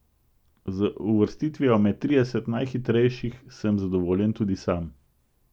Z uvrstitvijo med trideset najhitrejših sem zadovoljen tudi sam.